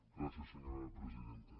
gràcies senyora presidenta